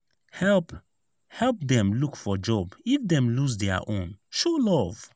help help dem look for job if dem lose dia own; show love.